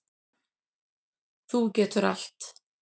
Þú getur allt.